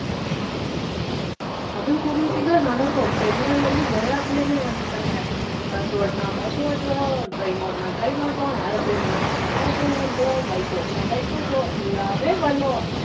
அதுவும் கூடிய சீக்கிரம் நடக்கும். பெண்கள் வந்து, எல்லாத்திலையுமே வந்துட்டாங்க. bus ஓட்டுனா, bus ஓட்டுவோம், train ஓட்டுனா train ஓட்டுவோம், aeroplane ஓட்டுன aeroplane ஓட்டுவோம் bike ஓட்டுனா bike ஓட்டுவோம் எல்லாமே பண்ணுவோம்